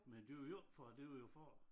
Men det var jo ikke for det var jo for